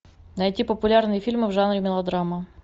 найти популярные фильмы в жанре мелодрама